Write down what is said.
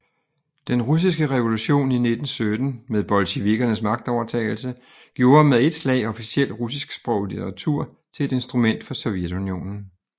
Den russiske revolution i 1917 med bolsjevikernes magtovertagelse gjorde med et slag officiel russisksproget litteratur til et instrument for Sovjetunionen